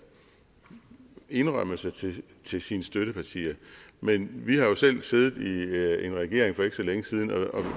indrømmelser til til sine støttepartier men vi har jo selv siddet i en regering for ikke så længe siden